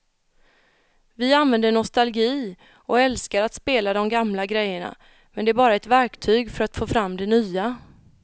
Vi använder nostalgi och älskar att spela de gamla grejerna men det är bara ett verktyg för att få fram det nya.